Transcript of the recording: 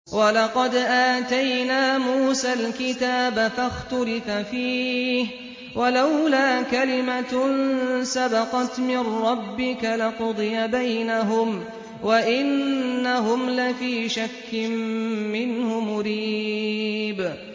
وَلَقَدْ آتَيْنَا مُوسَى الْكِتَابَ فَاخْتُلِفَ فِيهِ ۚ وَلَوْلَا كَلِمَةٌ سَبَقَتْ مِن رَّبِّكَ لَقُضِيَ بَيْنَهُمْ ۚ وَإِنَّهُمْ لَفِي شَكٍّ مِّنْهُ مُرِيبٍ